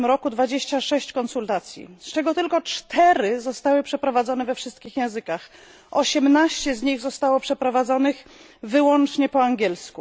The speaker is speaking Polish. w zeszłym roku 26 konsultacji, z czego tylko 4 zostały przeprowadzone we wszystkich językach, 18 z nich zostało przeprowadzonych wyłącznie po angielsku.